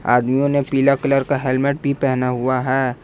आदमियों ने पीला कलर का हेलमेट भी पहना हुआ है।